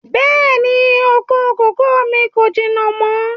Bẹ́ẹ̀ni, oko kòkó mi kò jìnà mọ́